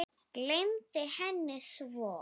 Gleymdi henni svo.